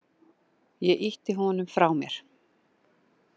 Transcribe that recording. Ég ýtti honum frá mér.